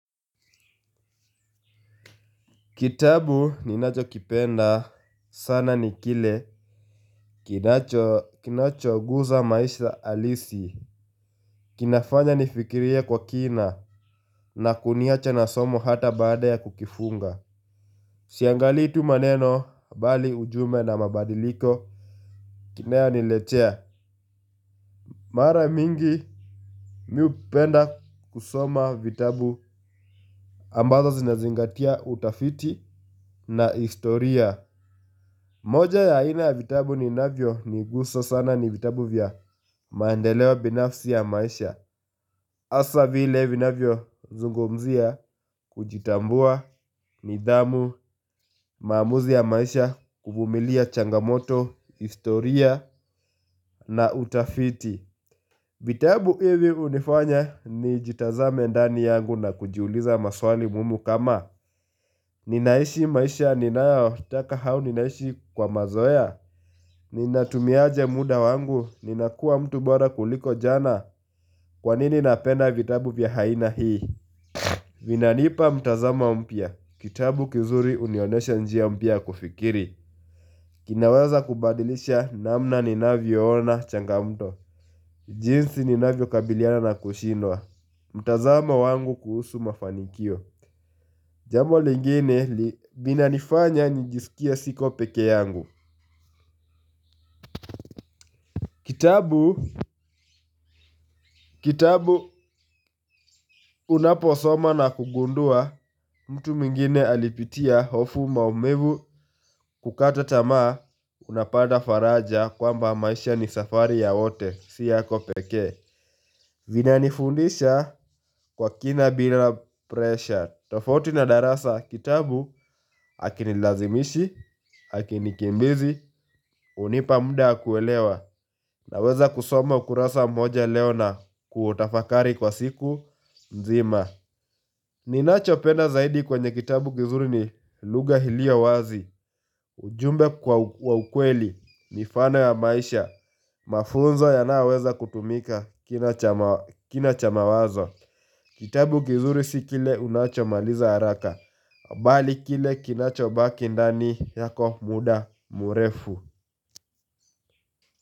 Kitabu ninachokipenda sana ni kile kinachoguza maisha halisi. Kinafanya nifikirie kwa kina na kuniacha na somo hata baada ya kukifunga. Siangalii tu maneno bali ujumbe na mabadiliko kinayoniletea. Mara mingi mi hupenda kusoma vitabu ambazo zinazingatia utafiti na historia. Moja ya aina ya vitabu ninavyo nigusa sana ni vitabu vya maendeleo binafsi ya maisha. Hasa vile vinavyozungumzia kujitambua nidhamu maamuzi ya maisha kuvumilia changamoto, historia na utafiti. Vitabu hivi hunifanya nijitazame ndani yangu na kujiuliza maswali muhimu kama ninaishi maisha ninayotaka au ninaishi kwa mazoea. Ninatumiaje muda wangu, ninakua mtu bora kuliko jana. Kwanini napenda vitabu vya aina hii. Vinanipa mtazamo mpya. Kitabu kizuri hunionyesha njia mpya ya kufikiri. Kinaweza kubadilisha namna ninavyoona changamoto. Jinsi ninavyokabiliana na kushindwa. Mtazamo wangu kuhusu mafanikio. Jambo lingine vinanifanya nijiskie siko peke yangu. Kitabu, kitabu unaposoma na kugundua mtu mwingine alipitia hofu maumivu kukata tamaa unapata faraja kwamba maisha ni safari ya wote si yako pekee. Vinanifundisha kwa kina bila presha. Tofauti na darasa kitabu hakinilazimishi, hakinikimbizi, hunipa muda wa kuelewa. Naweza kusoma ukurasa mmoja leo na kutafakari kwa siku nzima. Ninachopenda zaidi kwenye kitabu kizuri ni lugha iliyo wazi. Ujumbe kwa ukweli, mifano ya maisha mafunzo yanayoweza kutumika kina cha mawazo. Kitabu kizuri si kile unachomaliza haraka bali kile kinachobaki ndani yako muda mrefu.